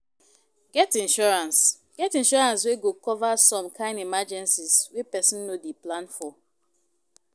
Get insurance Get insurance wey go cover some kind emergencies wey person no dey plan for